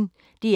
DR P1